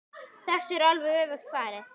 Þessu er alveg öfugt farið.